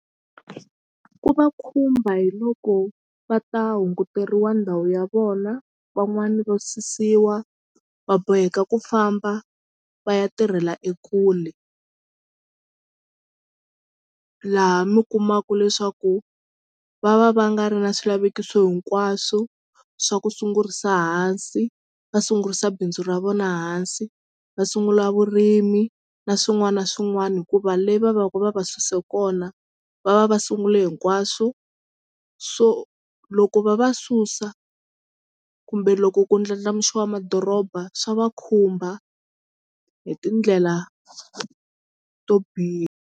Ku va khumba hi loko va ta hunguteriwa ndhawu ya vona van'wani va susiwa va boheka ku famba va ya tirhela ekule laha mi kumaka leswaku va va va nga ri na swilavekiso hinkwaswo swa ku sungurisa hansi va sungurisa bindzu ra vona hansi va sungula vurimi na swin'wana na swin'wana hikuva le va vaku va va suse kona va va va sungule hinkwaswo so loko va va susa kumbe loko ku ndlandlamuxiwa madoroba swa va khumba hi tindlela to biha.